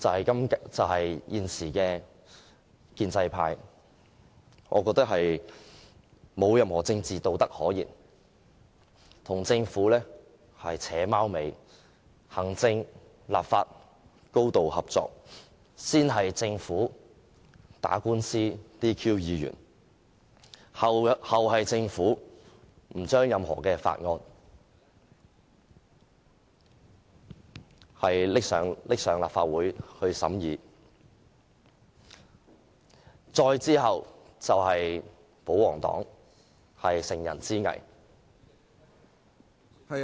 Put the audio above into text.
我認為現在的建制派沒有任何政治道德可言，跟政府"扯貓尾"，行政、立法高度合作，先是政府打官司取消議員資格，後有政府不把任何法案提交立法會審議，再之後便是保皇黨乘人之危......